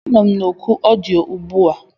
Anọ m na oku ọdịyo ugbu a.